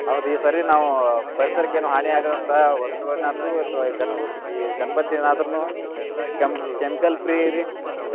ಹೌದ್ ಈ ಸರಿ ನಾವ್ ಪರಿಸರಕ್ಕೆ ಏನೂ ಹಾನಿ ಆಗದಂತಹ ವಸ್ತುಗಳನ್ನ ಆತು~ ಅಥವಾ ಈ ಗಣ~ ಈ ಗಣಪತಿಯನ್ನ ಆದ್ರೂನು chemical free ರಿ.